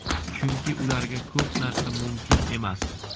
Chunki ularga ko‘p narsa mumkin emas.